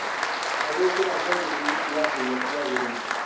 Na gwĩkĩra thogithi na iratũ iria cĩagĩrĩire